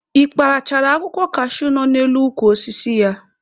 Ị kparachara akwụkwọ kashuu nọ n'elu ukwu osisi ya?